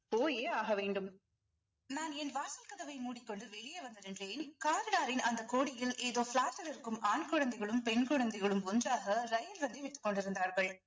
போயே ஆக வேண்டும் நான் என் வாசல் கதவை மூடிக்கொண்டு வெளியே வந்த நின்றயில் காவலாரின் அந்த கொடியில் ஏதோ flat இல் இருக்கும் ஆண் குழந்தைகளும் பெண் குழந்தைகளும் ஒன்றாக ரயில் விட்டுக் கொண்டிருந்தார்கள்